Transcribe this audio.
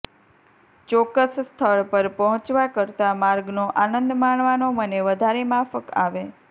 ચોક્કસ સ્થળ પર પહોચવા કરતા માર્ગનો આનંદ માણવાનો મને વધારે માફક આવે